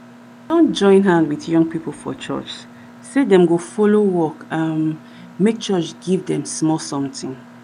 join hand with young people for church say them go follow work um make church give them small something